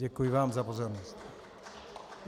Děkuji vám za pozornost.